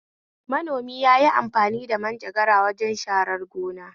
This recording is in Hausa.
Manomi yayi amfani manjagara wajen sharar gona